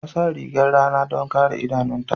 Ta sa rigar rana don kare idanunta.